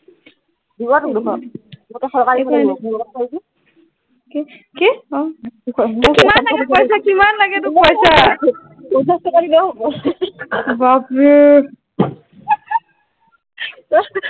কি কি তোক কিমান লাগে পইছা কিমান লাগে পঞ্চাছ টকা দিলেই হব বাবৰে